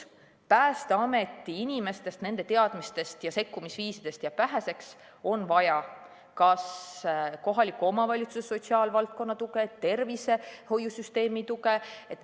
Päästeameti inimestest, nende teadmistest ja sekkumisviisidest jääb väheseks, on vaja kas kohaliku omavalitsuse sotsiaalvaldkonna tuge või tervishoiusüsteemi tuge.